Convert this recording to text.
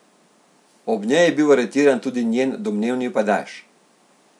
Ob njej je bil aretiran tudi njen domnevni pajdaš.